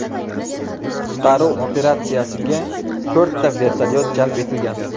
Qutqaruv operatsiyasiga to‘rtta vertolyot jalb etilgan.